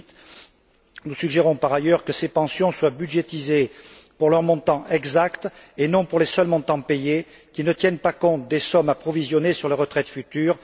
2008. Nous suggérons par ailleurs que ces pensions soient budgétisées pour leur montant exact et non pour les seuls montants payés, qui ne tiennent pas compte des sommes approvisionnées sur les retraites futures.